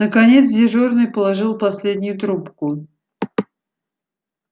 наконец дежурный положил последнюю трубку